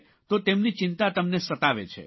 તો તેમની ચિંતા તમને સતાવે છે